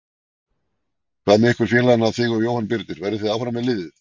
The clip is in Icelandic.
Hvað með ykkur félagana þig og Jóhann Birnir, verðið þið áfram með liðið?